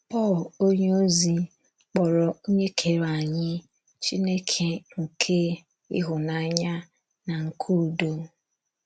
Pọl onyeozi kpọrọ Onye kere anyị “ Chineke nke ịhụnanya na nke udo. ”